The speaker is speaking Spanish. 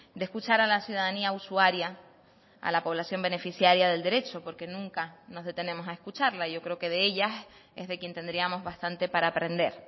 de escuchar a la ciudadanía usuaria a la población beneficiaria del derecho porque nunca nos detenemos a escucharla yo creo que de ellas es de quien tendríamos bastante para aprender